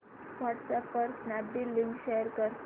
WhatsApp वर Snapdeal link share कर